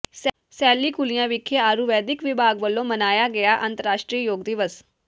ਸੈਲੀ ਕੁਲੀਆਂ ਵਿਖੇ ਆਯੁਰਵੈਦਿਕ ਵਿਭਾਗ ਵੱਲੋਂ ਮਨਾਇਆ ਗਿਆ ਅੰਤਰਰਾਸ਼ਟਰੀ ਯੋਗ ਦਿਵਸ